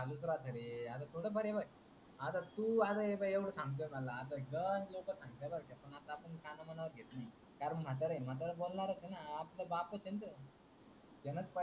चालूच राहते रे आता थोड फार हे पाय आता तू एवढ सांगते मला. आता रोज लोक सांगत्याय बार काय. आता आपण काना मनावर घेत नाही कारण म्हातार आहे म्हातार बोलणारच आहे न. आपला बापच आहे तो. त्यानच पाहिल.